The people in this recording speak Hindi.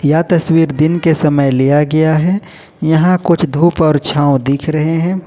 यह तस्वीर दिन के समय लिया गया है यहां कुछ धूप और छांव दिख रहे हैं।